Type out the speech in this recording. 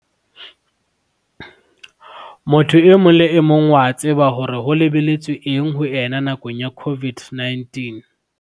Motho e mong le emong o a tseba hore ho lebelletswe eng ho ena nakong ena ya COVID-19.